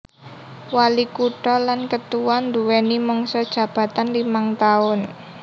Walikutha lan ketua nduwèni mangsa jabatan limang taun